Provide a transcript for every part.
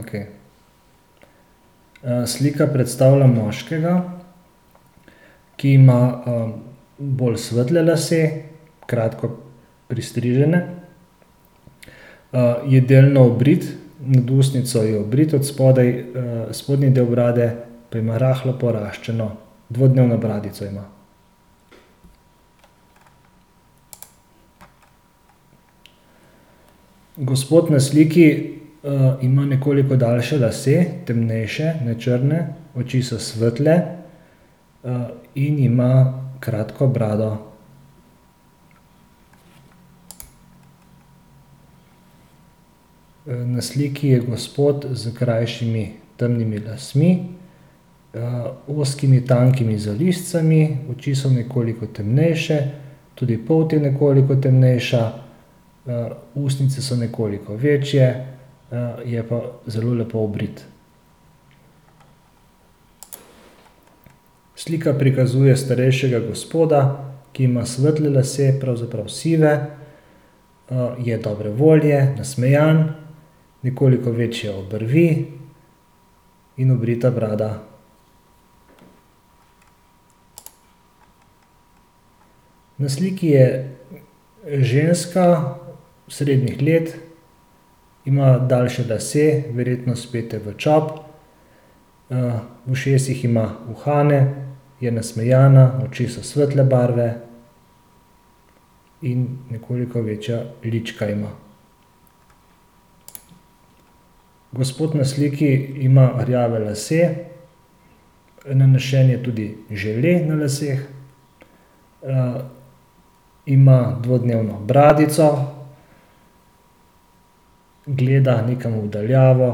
Okej. slika predstavlja moškega, ki ima, bolj svetle lase, kratko pristrižene. je delno obrit, nad ustnico je obrit, odspodaj, spodnji del brade pa ima rahlo poraščeno, dvodnevno bradico ima. Gospod na sliki, ima nekoliko daljše lase, temnejše, ne črne. Oči so svetle. in ima kratko brado. na sliki je gospod s krajšimi, temnimi lasmi, ozkimi tankimi zalizci. Oči so nekoliko temnejše. Tudi polt je nekoliko temnejša. ustnice so nekoliko večje, je pa zelo lepo obrit. Slika prikazuje starejšega gospoda, ki ima svetle lase, pravzaprav sive. je dobre volje, nasmejan, nekoliko večje obrvi in obrita brada. Na sliki je ženska srednjih let. Ima daljše lase, verjetno spete v čop. v ušesih ima uhane. Ja nasmejana, oči so svetle barve in nekoliko večja lička ima. Gospod na sliki ima rjave lase, nanesen je tudi žele na laseh. ima dvodnevno bradico. Gleda nekam v daljavo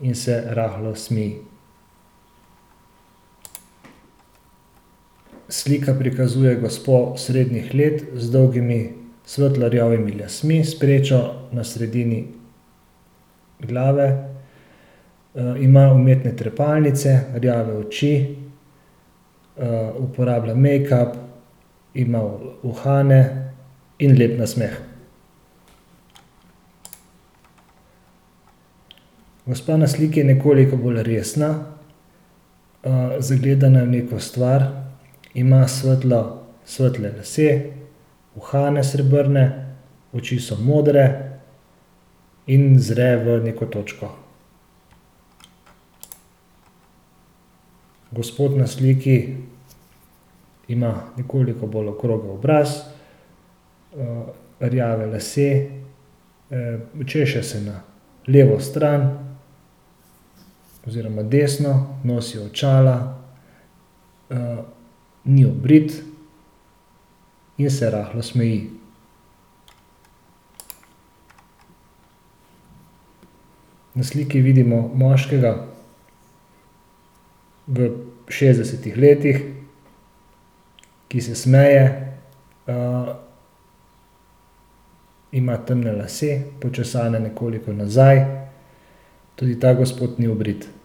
in se rahlo smeji. Slika prikazuje gospo srednjih let z dolgimi svetlo rjavimi lasmi s prečo na sredini glave. ima umetne trepalnice, rjave oči, uporablja mejkap, ima uhane in lep nasmeh. Gospa na sliki je nekoliko bolj resna, zgledana je v neko stvar. Ima svetlo, svetle lase, uhane srebrne, oči so modre in zre v neko točko. Gospod na sliki ima nekoliko bolj okrogel obraz, rjave lase, češe se na levo stran, oziroma desno, nosi očala, ni obrit in se rahlo smeji. Na sliki vidimo moškega v šestdesetih letih, ki se smeje, ima temne lase, počesane nekoliko nazaj, tudi ta gospod ni obrit.